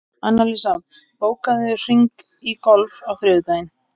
Annalísa, bókaðu hring í golf á þriðjudaginn.